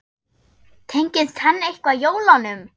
Tengist hann eitthvað jólunum?